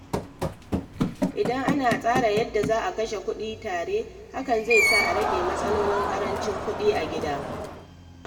Idan ana tsara yadda za a kashe kuɗi tare, hakan zai sa a rage matsalolin ƙarancin kuɗi a gida.